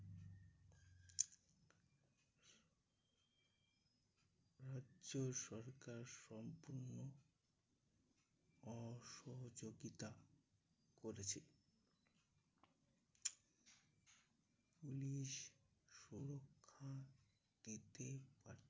রাজ্য সরকার সম্পূর্ণ অসহযোগিতা করেছেন।